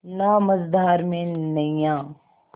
ना मझधार में नैय्या